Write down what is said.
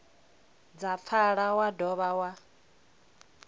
dza pfala wa dovha wa